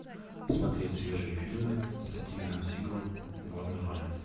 смотреть свежие фильмы со стивеном сигалом в главной роли